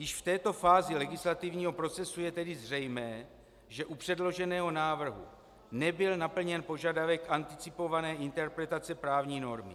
Již v této fázi legislativního procesu je tedy zřejmé, že u předloženého návrhu nebyl naplněn požadavek anticipované interpretace právní normy.